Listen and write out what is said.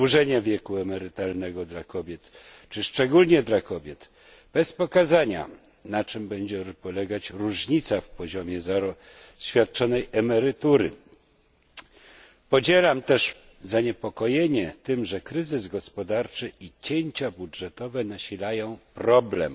Wydłużenie wieku emerytalnego dla kobiet, czy szczególnie dla kobiet, bez pokazania, na czym będzie polegać różnica w poziomie świadczonej emerytury. Podzielam też zaniepokojenie tym, że kryzys gospodarczy i cięcia budżetowe nasilają problem.